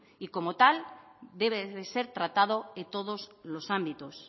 y como tal debe de ser tratado en todos los ámbitos